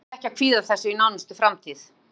Við þurfum því ekki að kvíða þessu í nánustu framtíð.